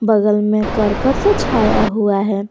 बगल में करकट से छाया हुआ है।